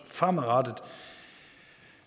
fremadrettet